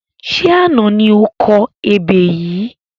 Ṣé àná ni o kọ ebè yìí?